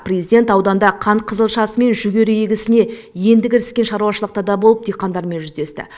президент ауданда қант қызылшасы мен жүгері егісіне енді кіріскен шаруашылықта да болып диқандармен жүздесті